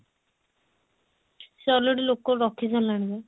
ସେ already ଲୋକ ରଖିସାରିଲାଣି ମ